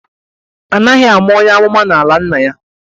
Anaghi ama onye amụma n'ala nna ya